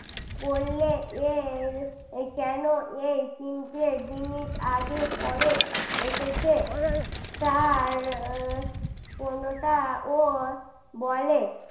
করলে এই কেন এই তিনটে জিনিস আগে পরে এসেছে তার কোনটা ও বলে